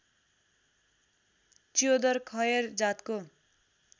च्योदर खयर जातको